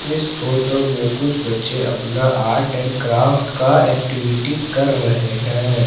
इस फोटो में कुछ बच्चे अपने आर्ट एंड क्राफ्ट का एक्टिविटी कर रहे है।